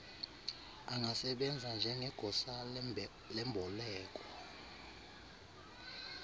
angasebenza njngegosa lemboleko